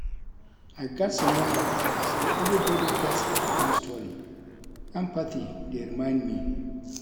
I gats remember say everybody gats their own story; empathy dey remind me.